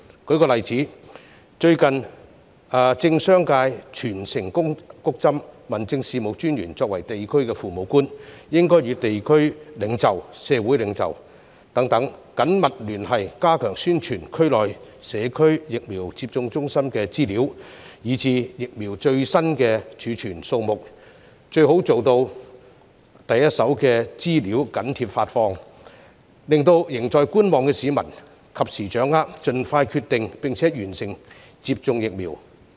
舉個例子，最近政商界全城"谷針"，民政事務專員作為地區父母官，應該與地區領袖和社會領袖等緊密聯繫，加強宣傳區內社區疫苗接種中心的資料以至疫苗最新儲存數目，最好做到第一手的資料緊貼發放，令仍在觀望的市民及時掌握有關資料，盡快決定並完成接種疫苗。